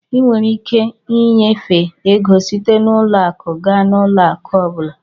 Ị nwere ike ịnyefe ego site n'ụlọ akụ gaa n'ụlọ akụ ọ bụla.